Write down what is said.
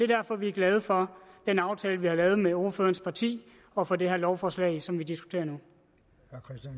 derfor vi er glade for den aftale vi har lavet med ordførerens parti og for det her lovforslag som vi diskuterer